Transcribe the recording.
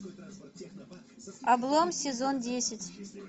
облом сезон десять